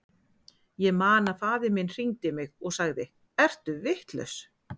Ég man að faðir minn hringdi í mig og sagði, ertu vitlaus?